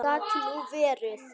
Gat nú verið!